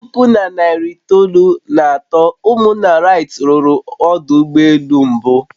Na puku na narị itoolu na atọ, ụmụnna wright ruru ọdụ ụgbọ elu mbụ